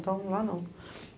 Então, lá não.